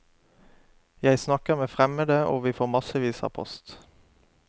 Jeg snakker med fremmede, og vi får massevis av post.